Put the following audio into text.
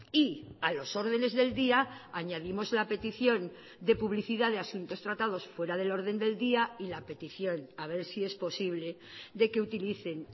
y a los órdenes del día añadimos la petición de publicidad de asuntos tratados fuera del orden del día y la petición a ver si es posible de que utilicen